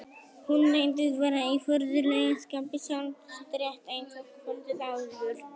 Hún reyndist vera í furðulegu skapi sjálf, rétt eins og kvöldið áður.